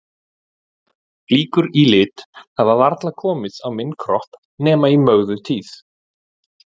Flíkur í lit hafa varla komið á minn kropp nema í Mögdu tíð.